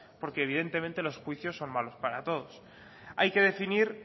porque evidentemente los juicios son malos para todos hay que definir